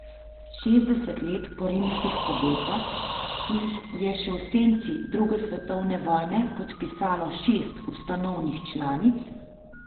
Šestdeset let po rimskih pogodbah, ki jih je še v senci druge svetovne vojne podpisalo šest ustanovnih članic, jo spodkopavajo tako notranje kot zunanje krize.